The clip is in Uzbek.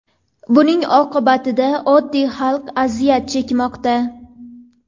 Buning oqibatida oddiy xalq aziyat chekmoqda.